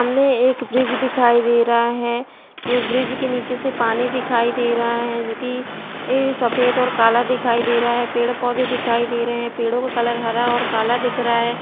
सामने एक ब्रिज दिखाई दे रहा है ब्रिज के नीचे से पानी दिखाई दे रहा है जो कि सफ़ेद और काला दिखाई दे रहा है पेड़ पौधे दिखाई दे रहै है पेड़ो का कलर हरा और काला दिख रहा है।